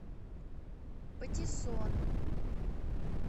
патиссон